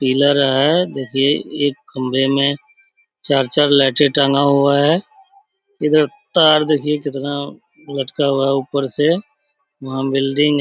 Pillar है। देखिये एक खम्बे में चार-चार लाइटें टाँगा हुआ है। इधर तार देखिये कितना लटका हुआ है ऊपर से। वहाँ बिल्डिंग --